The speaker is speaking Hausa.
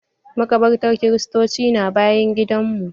Maƙabartan kiristoci na bayan gidan mu.